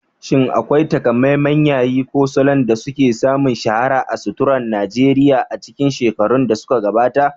Shin akwai taƙamaiman yayi ko salon da suka sami shahara a suturar Najeriya a cikin shekarun da suka gabata?